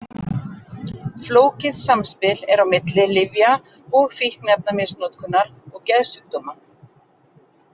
Flókið samspil er á milli lyfja- og fíkniefnamisnotkunar og geðsjúkdóma.